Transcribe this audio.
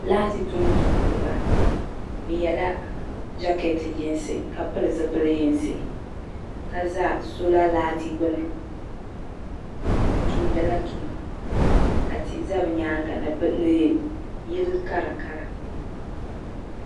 Laati tuntumdiba bɛ yela jaketi yinsi ka pili zipili yinsi ka za sola laati gbuni bɛ tumdila tuma ka tihi za bɛ nyaaŋa ni yili karakara.